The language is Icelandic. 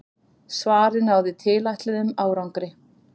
Svarið náði tilætluðum árangri.